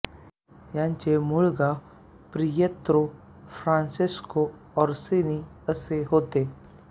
याचे मूळ नाव पियेत्रो फ्रांसेस्को ओर्सिनी असे होते